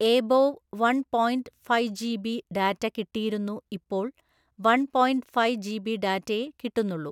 above one point five G B data കിട്ടിയിരുന്നു ഇപ്പോൾ one point five G B ഡാറ്റയേ കിട്ടുന്നുള്ളൂ